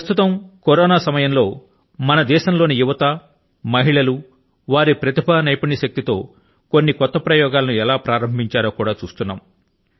ప్రస్తుతం కరోనా సమయం లో మన దేశం లోని యువత మహిళలు వారి వారి ప్రతిభ తోను నైపుణ్య శక్తి తోను కొన్ని కొత్త ప్రయోగాల ను ఎలా ప్రారంభించారో కూడా చూస్తున్నాము